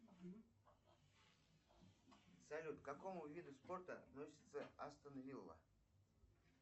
салют к какому виду спорта относится астон вилла